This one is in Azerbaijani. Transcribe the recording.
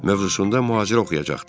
mövzusunda mühazirə oxuyacaqdı.